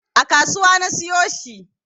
A kasuwa na siyo shi